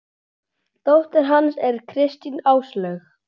Dóttir hans er Kristín Áslaug.